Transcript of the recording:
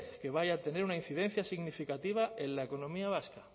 que vaya a tener una incidencia significativa en la economía vasca